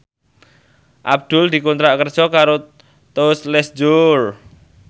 Abdul dikontrak kerja karo Tous Les Jour